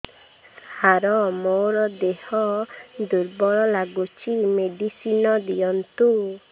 ସାର ମୋର ଦେହ ଦୁର୍ବଳ ଲାଗୁଚି ମେଡିସିନ ଦିଅନ୍ତୁ